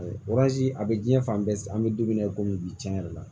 a bɛ diɲɛ fan bɛɛ an bɛ don min na i komi bi tiɲɛ yɛrɛ la